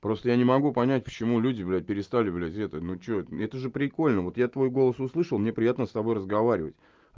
просто я не могу понять почему люди блять перестали блять это ну что это тоже прикольно вот я твой голос услышал мне приятно с тобой разговаривать